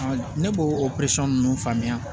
Ne b'o o nunnu faamuya